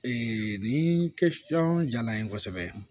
nin kɛ la n ye kosɛbɛ